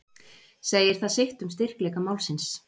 Segir það sitt um styrkleika málsins.